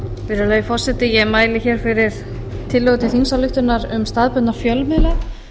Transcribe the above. virðulegi forseta ég mæli hér fyrir tillögu til þingsályktunar um staðbundna fjölmiðla